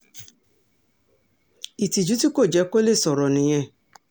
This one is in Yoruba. ìtìjú tí kò jẹ́ kó lè sọ̀rọ̀ nìyẹn